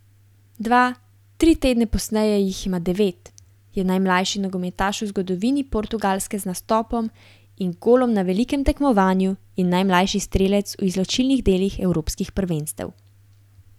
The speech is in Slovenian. Dva, tri tedne pozneje jih ima devet, je najmlajši nogometaš v zgodovini Portugalske z nastopom in golom na velikem tekmovanju in najmlajši strelec v izločilnih delih evropskih prvenstev.